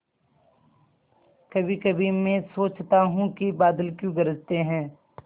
कभीकभी मैं सोचता हूँ कि बादल क्यों गरजते हैं